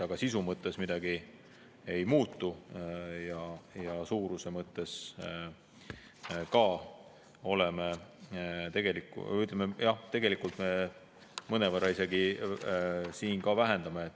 Aga sisu mõttes midagi ei muutu ja suuruse mõttes tegelikult mõnevõrra isegi vähendame.